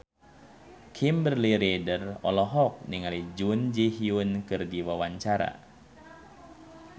Kimberly Ryder olohok ningali Jun Ji Hyun keur diwawancara